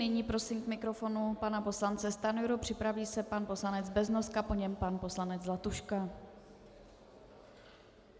Nyní prosím k mikrofonu pana poslance Stanjuru, připraví se pan poslanec Beznoska, po něm pan poslanec Zlatuška.